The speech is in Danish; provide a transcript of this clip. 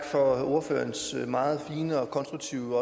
for ordførerens meget fine og konstruktive